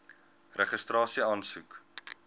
registrasieaansoek